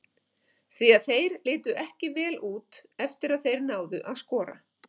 Því að þeir litu ekki vel út eftir að þeir náðu að skora.